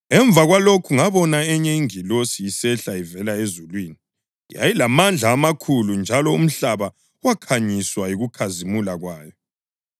Emva kwalokhu ngabona enye ingilosi isehla ivela ezulwini. Yayilamandla amakhulu njalo umhlaba wakhanyiswa yikukhazimula kwayo.